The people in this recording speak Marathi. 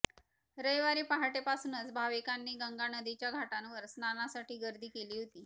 रविवारी पहाटेपासूनच भाविकांनी गंगानदीच्या घाटांवर स्नानासाठी गर्दी केली होती